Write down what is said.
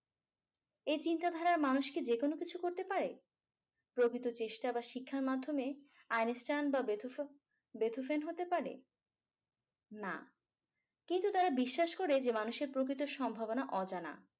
এ চিন্তাধারার মানুষ কি যেকোনো কিছু করতে পারে প্রকৃত চেষ্টা বা শিক্ষার মাধ্যমে einstein বা beethoven হতে পারে না কিন্তু তারা বিশ্বাস করে যে মানুষের প্রকৃত সম্ভাবনা অজানা